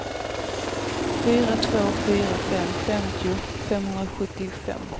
fyra två fyra fem femtio femhundrasjuttiofem